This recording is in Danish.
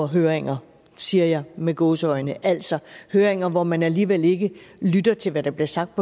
høringer siger jeg med gåseøjne altså høringer hvor man alligevel ikke lytter til hvad der bliver sagt